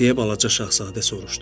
Deyə balaca şahzadə soruşdu.